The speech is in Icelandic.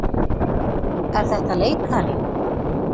Er þetta leikari?